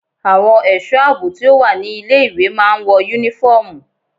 Àwọn ẹ̀sọ́ àbò tí ó wà ní ilé ìwé máa ń wọ yúnífọ́ọ̀mù.